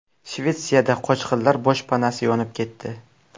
Shvetsiyada qochqinlar boshpanasi yonib ketdi.